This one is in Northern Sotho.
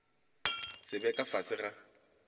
se be ka fase ga